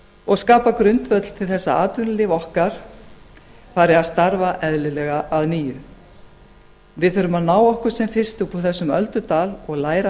og skapa grundvöll til þess að atvinnulíf okkar fari að starfa eðlilega að nýju við þurfum að ná okkur sem fyrst út úr þessum öldudal og læra